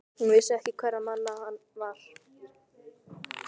Hún vissi ekki hverra manna hann var.